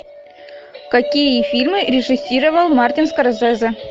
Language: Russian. какие фильмы режиссировал мартин скорсезе